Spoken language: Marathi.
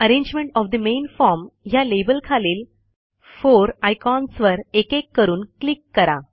arrangement of the main form ह्या लेबल खालील 4 आयकॉन्सवर एकेक करून क्लिक करा